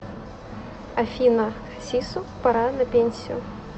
афина хасису пора на пенсию